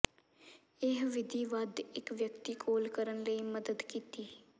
ਇਹ ਵਿਧੀ ਵੱਧ ਇੱਕ ਵਿਅਕਤੀ ਕੋਲ ਕਰਨ ਲਈ ਮਦਦ ਕੀਤੀ